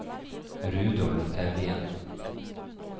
Rudolf Evjen